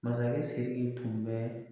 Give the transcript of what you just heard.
Masakɛ Siriki tun bɛ